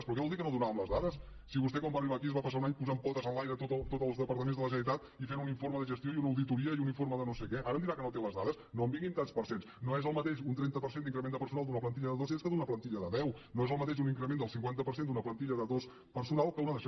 però què vol dir que no donàvem les dades si vostè quan va arribar aquí es va passar un any posant potes enlaire tots els departaments de la generalitat i fent un informe de gestió i una auditoria i un informe de no sé què ara em dirà que no té les dades no em vingui amb tants per cent no és el mateix un trenta per cent d’increment de personal d’una plantilla de dos cents que d’una plantilla de deu no és el mateix un increment del cinquanta per cent d’una plantilla de dos de personal que una d’això